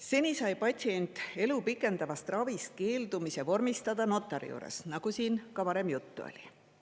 Seni sai patsient elu pikendavast ravist keeldumise vormistada notari juures, nagu siin ka varem juttu oli.